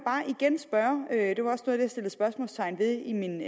satte spørgsmålstegn ved i min